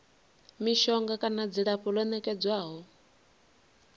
mishonga kana dzilafho ḽo nekedzwaho